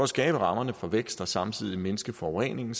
skabe rammerne for vækst og samtidig mindske forureningen